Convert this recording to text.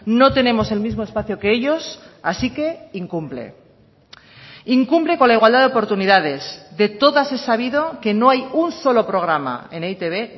no tenemos el mismo espacio que ellos así que incumple incumple con la igualdad de oportunidades de todas es sabido que no hay un solo programa en e i te be